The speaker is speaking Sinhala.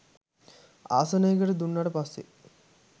ආසනයකට දුන්නට පස්සෙ